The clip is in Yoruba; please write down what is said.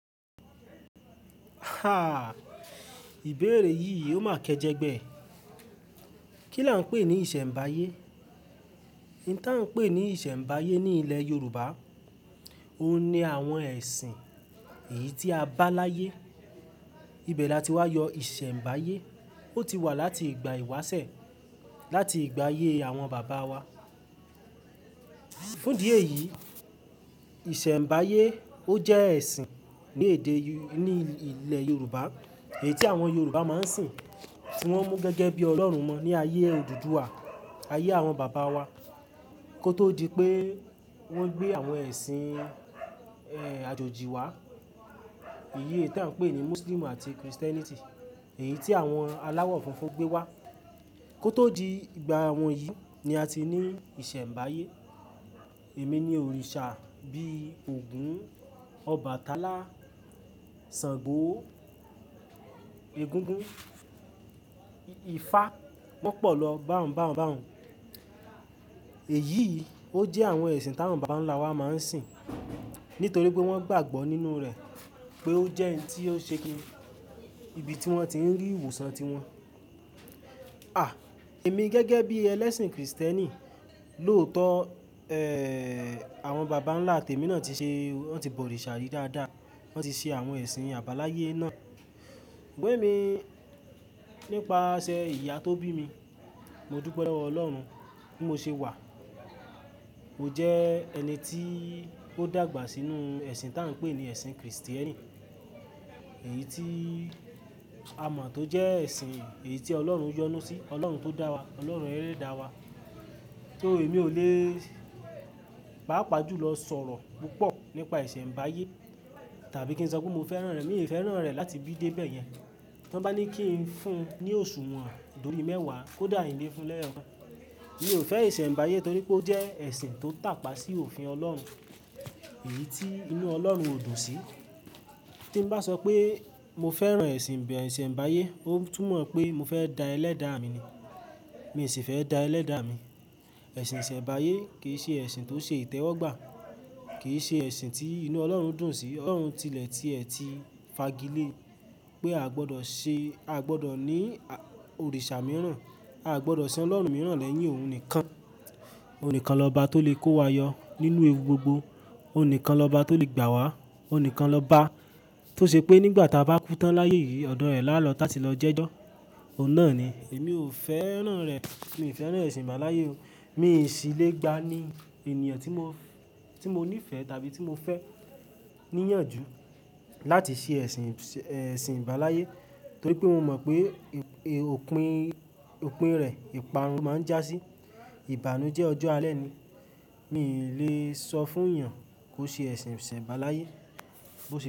Ha! Ìbéèrè yìí ò máa kẹjẹ gbẹ. Kí là ń pè ní ìsẹ̀m̀báyé? Ìdí tí à ń pè ní ìsẹ̀m̀báyé ní ilẹ̀ Yorùbá, óun ni àwọn ẹ̀sìn èyí tí a bá láyé. Ibẹ̀ là tí wá yọ ìsẹ̀ m̀báyé. Ó ti wà láti ìgbà ìwásẹ̀, láti ìgbà ayé àwọn bàbá wa. Fún dí eyi, ìsẹ̀ m̀báyé ó jẹ́ ẹ̀sìn ní èdè, ní ilẹ̀ Yorùbá èyí tí àwọn Yorùbá máa ń sìn, tí wọ́n mú gẹ́gẹ́ bí Ọlọ́run won ní ayé òdùduwà, ayé àwọn bàbá wa. Kótó di pé wọ́n gbé àwọn ẹ̀sìn, ẹ́ẹ́, àjòjì wá, èyí tí à ń pè ní Muslim àti Christianity, èyí tí àwọn aláwọ̀ funfun gbé wá. Kótó di ìgbà wọ̀nyí ni a ti ní ìsẹ̀ m̀báyé. Èmi ní òrìṣà bí i Ògún, Ọbàtálá, Ṣàngó, Egungun, Ifá, won pọ̀ lọ, bá ọ̀un, bá ọ̀un, bá ọ̀un. Èyí ò jẹ́ àwọn ẹ̀sìn táwọn bàbà ńlá wa máa ń sìn nítorí pé wọ́n gbàgbọ́ nínú rẹ̀ pé ó jẹ́ oun tí yóò ṣe kí ibi tí wọ́n ti ń rí ìwòsàn ti wọn. À! Èmi gẹ́gẹ́ bí ẹlẹ́sìn Kristẹni, lóòótọ́, ẹ́ẹ́ẹ́, àwọn bàbá ńlá tèmi náà ti ṣe, wọ́n ti bọ̀ òrìṣà yìí dáadáa, wọ́n ti ṣe àwọn ẹ̀sìn àbáláyé náà. Sugbon ẹ̀mi, nípasẹ̀ ìyá tó bí mi, mo dupe lowo Ọlọ́run bí mo ṣe wà. Mò jẹ́ ẹni tí ó dàgbà sínú ẹ̀sìn tá ń pè ní ẹ̀sìn Kristẹni. Èyí tí a mọ̀ tó jẹ́ ẹ̀sìn, èyí tí Ọlọ́run yọ́nu sí, Ọlọ́run tó dá wa, Ọlọ́run ẹlẹ́dà wa. Too èmi ò lè, pàápàá jùlọ sọ̀rọ̀ púpọ̀ nípa ìsẹ̀ m̀báyé tàbí kí n sọ pé mo fẹ́ràn rẹ̀. Mi ò fẹ́ràn rẹ̀ láti bí dé bẹ́ẹ̀ yẹn. Tí wọ́n bá ní kí n fún un ní òṣùwọ̀n dórí mẹ́wàá kó dà hín lé fún lẹ́ẹ̀kan. Mi ò fẹ́ ìsẹ̀ m̀báyé torí pé ó jẹ́ ẹ̀sìn tó tàpá sí òfin Ọlọ́run, èyí tí inú Ọlọ́run ó dùn sí. Tí n bá sọ pé mo fẹ́ràn ẹ̀sìn, ìsẹ̀ m̀báyé, ó tún mọ̀ pé mo fẹ́ da ẹlẹ́dàà mi ni. Mi ò sì fẹ́ da ẹlẹ́dàà mi. Ẹ̀sìn ìsẹ̀ m̀báyé kì í ṣe ẹ̀sìn tó ṣe ìtẹ́wọ́gbà, kì í ṣe ẹ̀sìn tí inú Ọlọ́run dùn sí. Ọ̀lorún tilẹ̀ tí ẹ̀ ti fagilé pé a gbọdọ̀ ṣe, a gbọdọ̀ ní à, òrìṣà mìíràn, a gbọdọ̀ sìn Ọlọ́run mìíràn lẹ́yìn òun nìkan. Òun nìkan lọba tó lè kó wa yọ nínú ewu gbogbo, òun nìkan lọba tó lè gbà wá, òun nìkan lọba tó ṣe pé nígbà tí a bá kú tán láyé yìí ọ̀dọ̀ ẹ̀ lálọ́ táti lọ jẹ́jọ́. Òun náà ni èmi ò fẹ́ràn rẹ̀. Mi ò fẹ́ràn ẹ̀sìn àbáláyé o. Mi sì le gba ní ènìyàn tí mo, tí mo níìfẹ̀ tàbí tí mo fẹ́ ní ìyànjú láti ṣe ẹ̀sìn, ẹ̀sìn ibáláyé torí pé mo mọ̀ pé ìp, opin, opin rẹ̀, ìparun lo máa ń jásí. Ìbànújẹ́ ọjọ́ alẹ́ ni. Mi ò lè sọ fún èèyàn kó ṣe ẹ̀sìn ìsẹ̀ m̀bálayé.